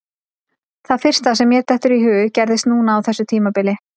Það fyrsta sem mér dettur í hug gerðist núna á þessu tímabili.